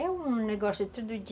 É um negócio tudo de...